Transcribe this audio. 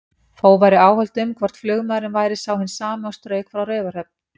Þó væru áhöld um, hvort flugmaðurinn væri sá hinn sami og strauk frá Raufarhöfn.